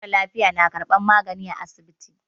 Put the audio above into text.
Mara lafiya na karban magani a asibiti.